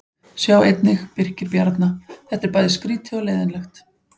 Sjá einnig: Birkir Bjarna: Þetta er bæði skrýtið og leiðinlegt